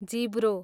जिब्रो